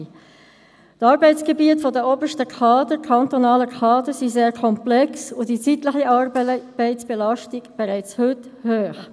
Die Arbeitsgebiete der obersten kantonalen Kader sind sehr komplex, und die zeitliche Arbeitszeitbelastung ist bereits heute sehr hoch.